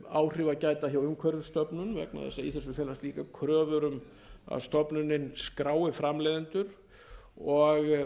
áhrifa gæta hjá umhverfisstofnun vegna þess að í þessu felast líka kröfur um að stofnunin skrái framleiðendur og